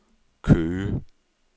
Køge